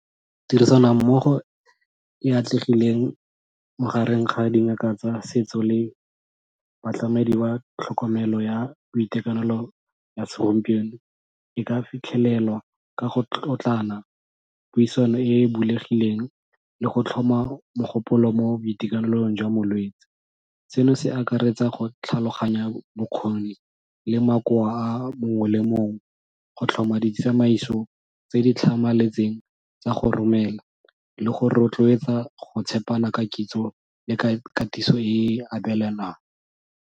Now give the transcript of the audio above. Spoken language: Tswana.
Tirisano mmogo e e atlegileng magareng ga dingaka tsa setso le batlamedi ba tlhokomelo ya boitekanelo ya segompieno, e ka fitlhelelwa ka go tlotlana, puisano e bulegileng, le go tlhoma mogopolo mo boitekanelong jwa molwetsi. Seno se akaretsa go tlhaloganya bokgoni le makoa a mongwe le mongwe, go tlhoma ditsamaiso tse di tlhamaletseng tsa go romela le go rotloetsa go tshepana ka kitso le ka katiso e e .